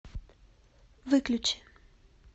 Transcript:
выключи